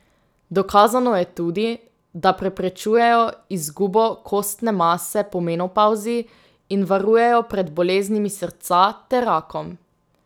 Dokazano je tudi, da preprečujejo izgubo kostne mase po menopavzi in varujejo pred boleznimi srca ter rakom.